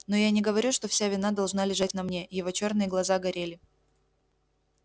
но я не говорю что вся вина должна лежать на мне его чёрные глаза горели